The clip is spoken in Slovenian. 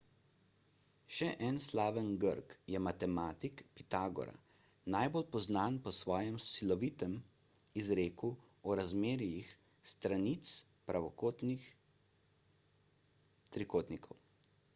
še en slaven grk je matematik pitagora najbolj poznan po svojem slovitem izreku o razmerjih stranic pravokotnih trikotnikov